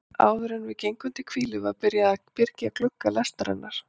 Áðuren við gengum til hvílu var byrjað að byrgja glugga lestarinnar.